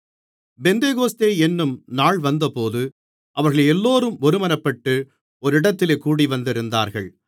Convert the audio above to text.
பெந்தெகொஸ்தே என்னும் நாள் வந்தபோது அவர்களெல்லோரும் ஒருமனப்பட்டு ஓரிடத்திலே கூடிவந்திருந்தார்கள்